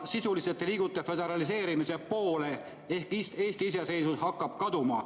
Sisuliselt te liigute föderaliseerumise poole ehk Eesti iseseisvus hakkab kaduma.